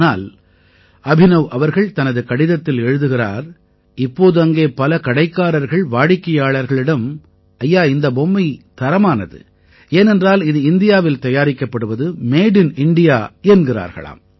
ஆனால் அபினவ் அவர்கள் தனது கடிதத்தில் எழுதுகிறார் இப்போது அங்கே பல கடைக்காரர்கள் வாடிக்கையாளர்களிடம் ஐயா இந்த பொம்மையை தரமானது ஏனென்றால் இது இந்தியாவில் தயாரிக்கப்படுவது மேட் இன் இண்டியா என்கிறார்களாம்